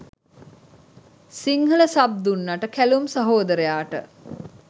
Sinhala sub දුන්නට කැලුම් සහෝදරයාට